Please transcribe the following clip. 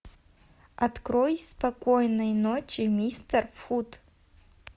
открой спокойной ночи мистер фут